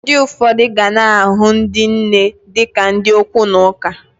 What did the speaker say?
Ndi ụfọdụ gana ahụ ndi nne di ka ndi okwu na ụka.